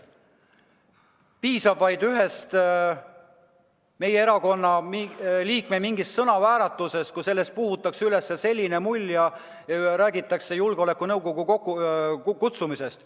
Piisab vaid ühest meie erakonna liikme sõnavääratusest, kui sellest puhutakse suur mull ja räägitakse riigikaitse nõukogu kokkukutsumisest.